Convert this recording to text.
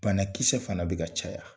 Banakisɛ fana bɛ ka caya.